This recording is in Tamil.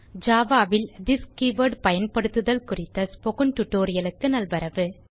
ஜாவா ல் திஸ் கீவர்ட் பயன்படுத்துதல் குறித்த ஸ்போக்கன் டியூட்டோரியல் க்கு நல்வரவு